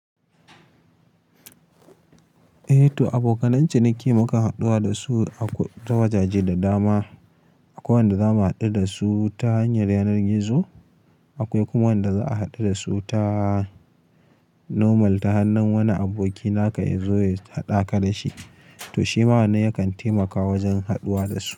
Eh to aboka nan ciniki mukan haɗuwa da su a ta wajaje da dama. Akwai wanda za mu haɗu da su ta hanyar yanar gizo. Akwai kuma wanda za a haɗu da su ta normal, ta hannun wani aboki naka ya zo ya haɗaka da shi. To shi ma na yakan taimaka wajen haɗuwa da su.